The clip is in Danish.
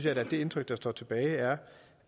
at det indtryk der står tilbage er